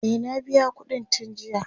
e na biya ƙuɗin tun jiya